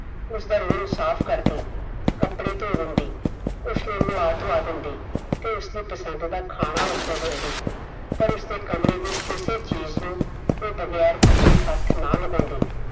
ਉਸਦਾ room ਸਾਫ ਕਰਦੀ ਕੱਪੜੇ ਧੋ ਦਿੰਦੀ ਉਸਨੂੰ ਨਵਾਂ ਧੁਵਾ ਦਿੰਦੀ ਤੇ ਉਸਦੀ ਪਸੰਦ ਦਾ ਖਾਣਾ ਉਸਨੂੰ ਦਿੰਦੀ ਪਰ ਉਸਦੇ ਕਮਰੇ ਦੀ ਕਿਸੀ ਚੀਜ਼ ਨੂੰ ਉਹ ਬਗੈਰ ਪੁਛੇ ਹੱਥ ਨਾ ਲਗਾਉਂਦੀ